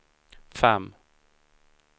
fem